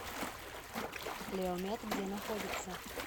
леомед где находится